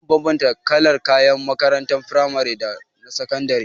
Za mu bambanta kalar kayan makarantar frimari daga na sakandare.